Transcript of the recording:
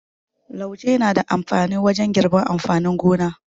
Lauje na da amfani wajen girbi amfanin gona.